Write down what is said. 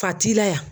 Ka t'i la